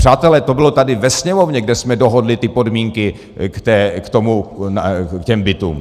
Přátelé, to bylo tady ve Sněmovně, kde jsme dohodli ty podmínky k těm bytům.